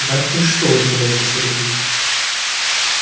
да ты что удивляется сергей